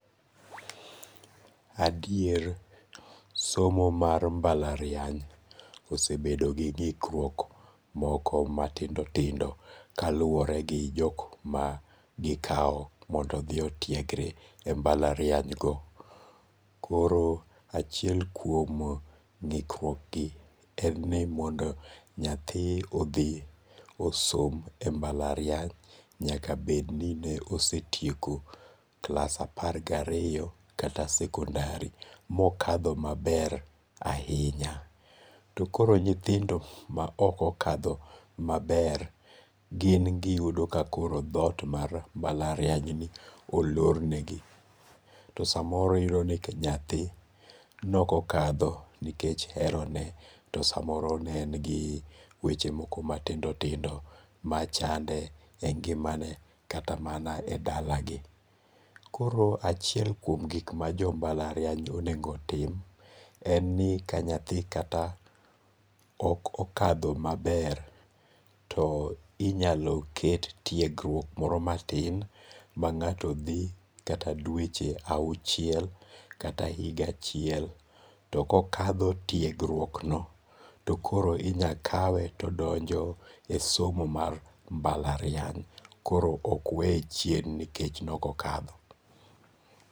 Adier somo mar mbalariany osebedo gi gikruok moko matindo tindo kaluore gi jok ma gikawo mondo othi otiegre e mbalarianygo, koro achiel kuom ngi'kruokgi en ni mondo nyathi othi osom e mbalariany nyaka bed ni osetieko klas apar gi ariyo kata sekondari mokatho maber ahinya, to koro nyithindo ma okokatho maber gin giyudo ka koro thot mar mbalarianyni olornegi, to samoro iyudoni nyathi ne okokatho nikech herone , to samoro ne en gi weche moro matindo tindo machande e ngi'mane kata mana e dalagi, koro achiel kuom gik ma jo mbalariany onego tim en ni ka nyathi kata ok okatho maber to inyalo ket tiegruok moro matin ma nga'to thi kata dweche awuchiel kata higa achiel to kokatho tiegrukno to koro inya kawe to donjo e somo mar mbalariany koro ok weye chien nikech ne okokatho.